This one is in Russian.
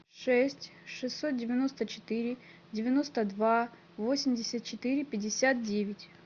шесть шестьсот девяносто четыре девяносто два восемьдесят четыре пятьдесят девять